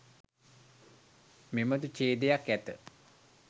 මෙබඳු ඡේදයක් ඇත.